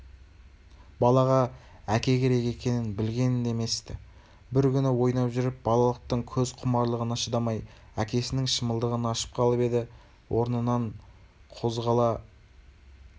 балаға әке керек екенін білген де емес-ті бір күні ойнап жүріп балалықтың көз құмарлығына шыдамай әкесінің шымылдығын ашып қалып еді орнынан қозғала